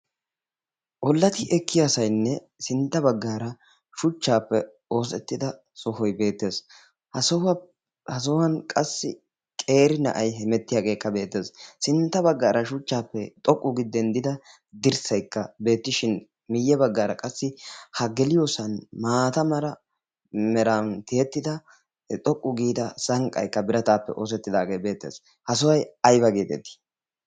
ollati ekkiaisainne sintta baggaara shuchchaappe oosettida sohoi beettees. ha sohuwan qassi qeeri na7ai hemettiyaageekka beettees. sintta baggaara shuchchaappe xoqqu gi denddida dirssaikka beettishin miyye baggaara qassi ha geliyoosan maata mala meran tiyettida xoqqu giida sanqqaikka birataappe oosettidaagee beettees. ha sohoi aiba geetettii?